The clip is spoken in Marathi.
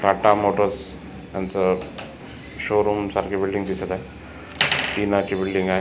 टाटा मोटर्स यांच शोरूम सारखी बिल्डिंग दिसत आहे टिना ची बिल्डिंग आहे.